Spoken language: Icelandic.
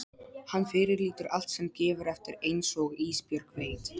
Hann fyrirlítur allt sem gefur eftir einsog Ísbjörg veit.